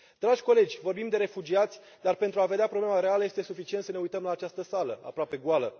Dragi colegi, vorbim de refugiați dar, pentru a vedea problema reală, este suficient să ne uităm la această sală, aproape goală.